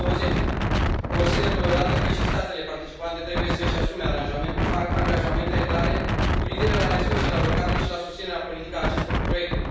2020. Consider totodată că și statele participante trebuie să își asume angajamente clare cu privire la resursele alocate și la susținerea politică a acestor proiecte.